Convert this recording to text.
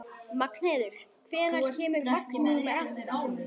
Magnheiður, hvenær kemur vagn númer átta?